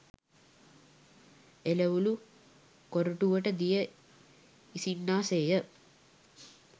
එළවළු කොරටුවට දිය ඉසින්නා සේ ය.